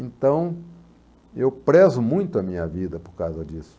Então, eu prezo muito a minha vida por causa disso.